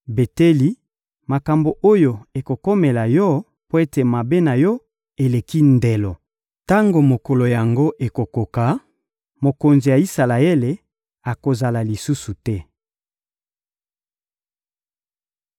Beteli, makambo oyo ekokomela yo mpo ete mabe na yo eleki ndelo. Tango mokolo yango ekokoka, mokonzi ya Isalaele akozala lisusu te.